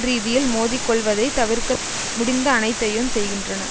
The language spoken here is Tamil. ரீதியில் மோதிக்கொள்வதைத் தவிர்க்க முடிந்த அனைத்தையும் செய்கின்றன